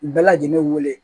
U bɛɛ lajɛlen wele